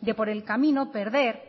de por el camino perder